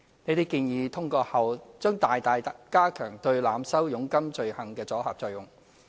這些建議通過後，將大大加強對濫收佣金罪行的阻嚇作用。